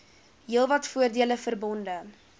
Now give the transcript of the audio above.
heelwat voordele verbonde